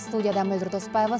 студияда мөлдір досбаева